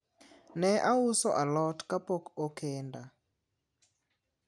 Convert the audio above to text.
ne auso alot kapok okenda